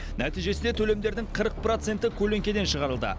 нәтижесінде төлемдердің қырық проценті көлеңкеден шығарылды